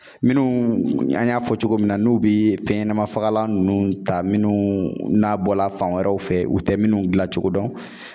Minnu an y'a fɔ cogo min na n'u bi fɛn ɲɛnama fagalan nunnu ta minnu na bɔla fan wɛrɛw fɛ u tɛ minnu gila cogo dɔn